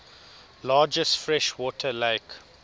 largest freshwater lake